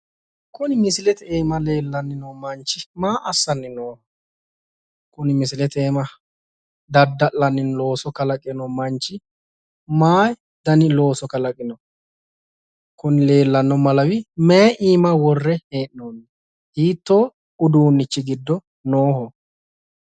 Kuni misilete iima leellanni noo manchi maa assanni nooho? Kuni misilete iima dadda'lanni looso kalaqe noo manchi mayi dani looso kalaqino? Kuni leellanno Malawi mayi iima worre hee'noonniho? Hiittoo uduunnichi giddo nooho?